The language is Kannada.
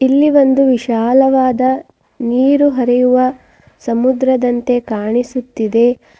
ಇಲ್ಲಿ ಒಂದು ವಿಶಾಲವಾದ ನೀರು ಹರಿಯುವ ಸಮುದ್ರದಂತೆ ಕಾಣಿಸುತ್ತಿದೆ.